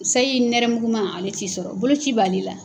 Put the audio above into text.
Sayi nɛrɛmuguma, ale t'i sɔrɔ ,bolo ci b'ale la.